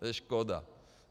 To je škoda.